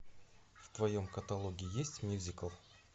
в твоем каталоге есть мюзикл